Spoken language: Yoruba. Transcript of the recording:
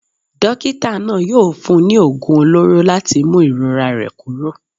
Dókítà náà yóò fún un ní oògùn olóró láti mú ìrora rẹ̀ kúrò.